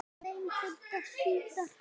Við reyndum það síðara!